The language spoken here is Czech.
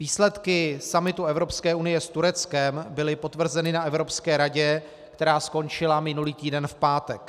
Výsledky summitu Evropské unie s Tureckem byly potvrzeny na Evropské radě, která skončila minulý týden v pátek.